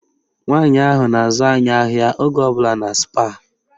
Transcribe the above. Nwaanyị ahụ na-azụ anyị ahịa oge ọbụla na Spáà